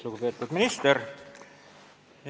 Lugupeetud minister!